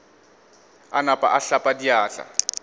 a napa a hlapa diatla